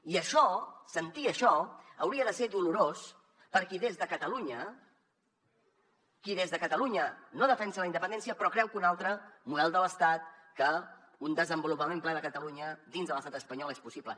i això sentir això hauria de ser dolorós per a qui des de catalunya no defensa la independència però creu que un altre model de l’estat que un desenvolupament ple de catalunya dins de l’estat espanyol és possible